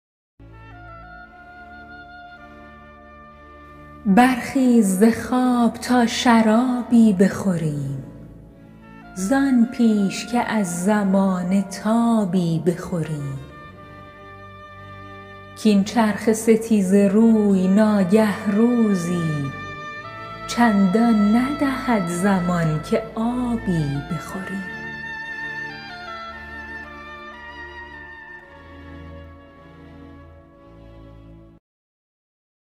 برخیز ز خواب تا شرابی بخوریم زان پیش که از زمانه تابی بخوریم کاین چرخ ستیزه روی ناگه روزی چندان ندهد زمان که آبی بخوریم